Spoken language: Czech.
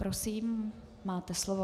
Prosím, máte slovo.